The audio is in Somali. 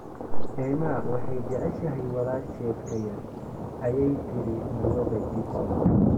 Emma waxay jeceshahay walaasheed ka yar, ayay tiri Marwada Gibson.